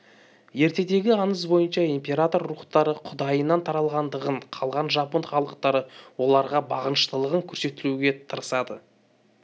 ертедегі аңыз бойынша император рухтары құдайынан таралғандығын қалған жапон халыктары оларға бағыныштылығын көрсетуге тырысады